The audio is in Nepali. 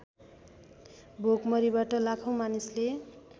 भोकमरीबाट लाखौँ मानिसले